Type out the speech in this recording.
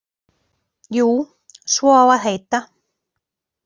Jú, svo á að heita.